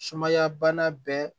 Sumaya bana bɛɛ